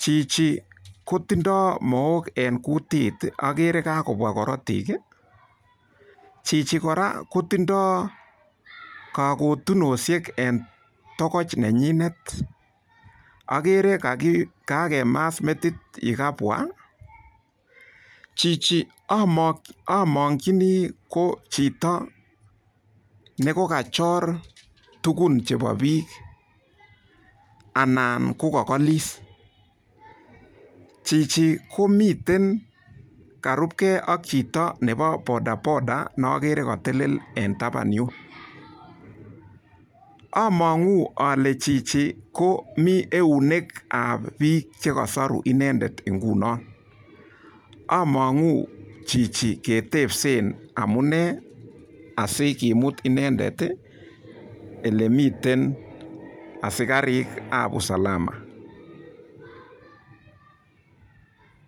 Chichi kotindoi mook eng kutit agere kakobwa korotik. Chichi kora kotindoi kakotinoshek eng tokoch nenyindet agere kakemas metit yekabwa. Chichi amongchini ko chito nekakachor tukun chebo biik anan ko kakolis. Chichi komitei karupkei ak chito nebo bodaboda nogere katelel en taban yun. Amang'u ale chichi komi eunekab biik chekasoru inendet nguno. Amang'u chichi ketepse amune asikimut inendet olemi asikarikab usalama.